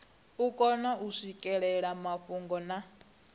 kone u swikelela mafhungo na